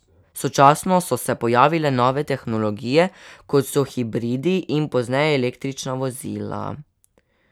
Sočasno so se pojavile nove tehnologije, kot so hibridi in pozneje električna vozila.